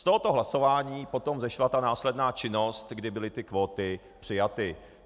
Z tohoto hlasování potom vyšla ta následná činnost, kdy byly ty kvóty přijaty.